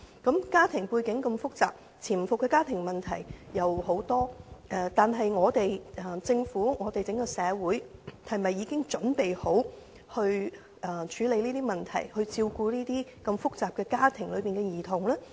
在家庭背景如此複雜的情況下潛伏很多家庭問題，但政府和整個社會是否已準備好處理這些問題，照顧在複雜家庭中長大的兒童呢？